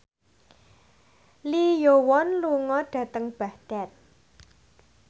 Lee Yo Won lunga dhateng Baghdad